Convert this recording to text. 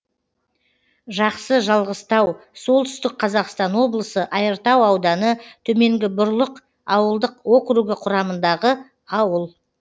жақсы жалғызтау солтүстік қазақстан облысы айыртау ауданы төменгі бұрлық ауылдық округі құрамындағы ауыл